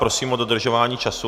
Prosím o dodržování času.